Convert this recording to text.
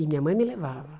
E minha mãe me levava.